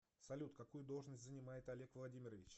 салют какую должность занимает олег владимирович